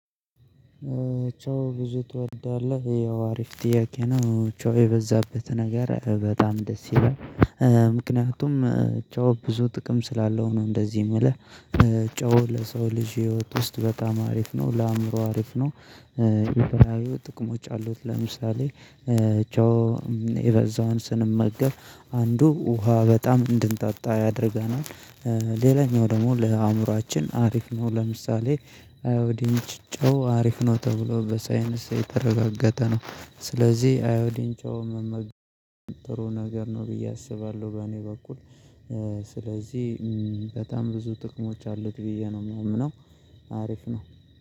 ጨው ብዙ ትወዳለህ? ያው አሪፍ ጥያቄ ነው ጨው የበዛበት ነገር በጣም ደስ ይላል። ምክንያቱም ጨው ብዙ ጥቅም ስላለው ነው እንደዚህ የምልህ። ጨው ለሰው ልጅ ህይወት ውስጥ በጣም አሪፍ ነው ለአእምሮ አሪፍ ነው። የተለያዩ ጥቅሞች አሉት ለምሳሌ ጨው የበዛውን ስንመገብ አንዱ ውሃ በጣም እንድንጣጣ ያደርገናል። ሌላኛው ደግሞ ለአእምሮአችን አሪፍ ነው ለምሳሌ አዮዲን ጨው አሪፍ ነው ተብሎ በሳይንስ የተረጋገጠ ነው። ስለዚህ አዮዲን ጨው ጥሩ ነገር ነው ብዬ አስባለሁ። በእኔ በኩል ስለዚህ በጣም ብዙ ጥቅሞች አሉት ብዬ ነው የሚያምነው። አሪፍ ነው